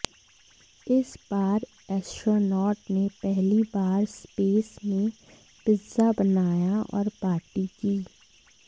इस बार एस्ट्रोनॉट ने पहली बार स्पेस में पिज्जा बनाया और पार्टी की